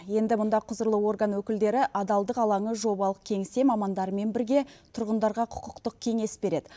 енді мұнда құзырлы орган өкілдері адалдық алаңы жобалық кеңсе мамандарымен бірге тұрғындарға құқықтық кеңес береді